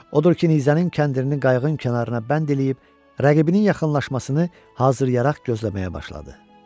Odur ki nizənin kəndirini qayığın kənarına bənd eləyib rəqibinin yaxınlaşmasını hazıryaraq gözləməyə başladı.